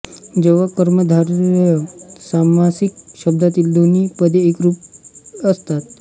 जेव्हा कर्मधारय सामासिक शब्दांतील दोन्ही पदे एकरूप असतात